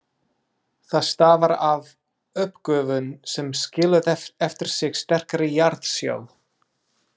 Það stafar af uppgufun sem skilur eftir sig sterkari jarðsjó.